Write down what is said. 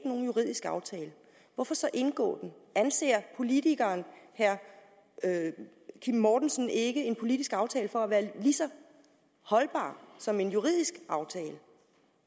nogen juridisk aftale hvorfor så indgå den anser politikeren herre kim mortensen ikke en politisk aftale for at være lige så holdbar som en juridisk aftale